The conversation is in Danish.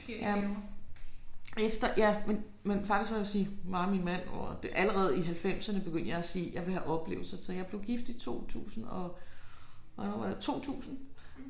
Jamen efter ja men men faktisk vil jeg sige mig og min mand og allerede i halvfemserne begyndte jeg at sige jeg vil have oplevelser så jeg blev gift i 2000 og hvornår var det 2000